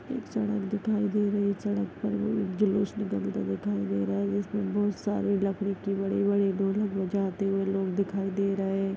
एक सड़क दिखाई दे रही है सड़क पर लोग जुलूस निकालते हुए दिखाई दे रहे है जिसमे बहुत सारी लकड़ी के बड़े-बड़े ढोलक बजाते हुए लोग दिखाई दे रहे --